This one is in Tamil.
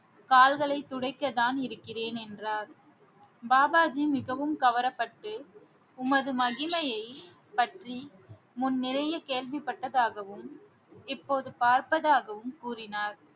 கால்களைத் துடைக்கத்தான் இருக்கிறேன் என்றார் பாபாஜி மிகவும் கவரப்பட்டு உமது மகிமையைப் பற்றி முன் நிறைய கேள்விப்பட்டதாகவும் இப்போது பார்ப்பதாகவும் கூறினார்